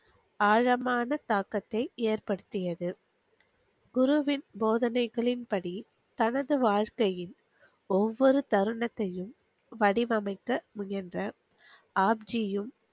ஆழமான தாக்கத்தி ஏற்படுத்தியது குருவின் போதனைகளின் படி தனது வாழ்க்கையின் ஒவ்வொரு தருணத்தையும் வடிவமைக்க முயன்ற ஆப்ஜியும்